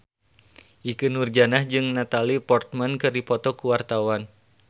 Ikke Nurjanah jeung Natalie Portman keur dipoto ku wartawan